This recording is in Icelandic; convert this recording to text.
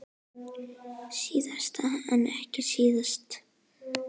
Síðast en ekki síst.